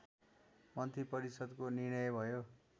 मन्त्रिपरिषदको निर्णय भयो